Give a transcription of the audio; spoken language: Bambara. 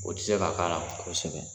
O tɛ se ka k'a la kosɛbɛ.